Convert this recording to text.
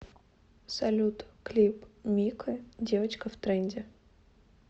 салют клип мико девочка в тренде